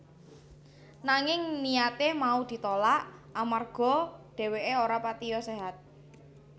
Nanging niyate mau di tolak amarga dheweke ora patiya séhat